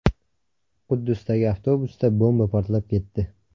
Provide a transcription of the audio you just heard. Quddusdagi avtobusda bomba portlab ketdi.